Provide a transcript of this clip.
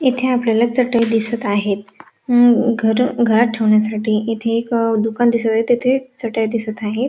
येथे आपल्याला चटई दिसत आहेत घर घरात ठेवण्यासाठी येथे एक दुकान दिसत आहे तिथे चटई दिसत आहेत.